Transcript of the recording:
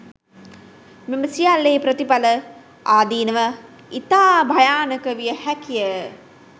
මෙම සියල්ලෙහි ප්‍රතිඵල, ආදීනව ඉතා භයානක විය හැකිය.